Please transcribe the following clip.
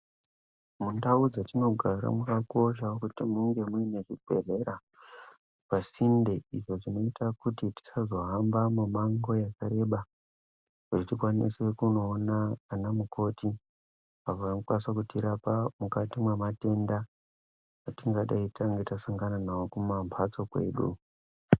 Mundau dzetinogara makakosha kuti munge muine zvibhedhlera pasinde, izvo zvinoita kuti tisazohamba mumango yakareba kuti tikwanise kunoona ana mukoti, avo vanokwanisa kutirapa mukati mwematenda atingadei tange tasangana nawo kumambatso kwedu.